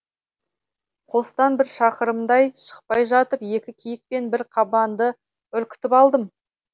қостан бір шақырымдай шықпай жатып екі киік пен бір қабанды үркітіп алдым